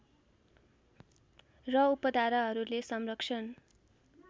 र उपधाराहरूले संरक्षण